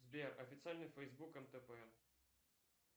сбер официальный фэйсбук нтп